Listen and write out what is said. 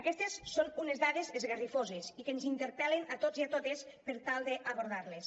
aquestes són unes dades esgarrifoses i que ens interpel·len a tots i a totes per tal d’abordar les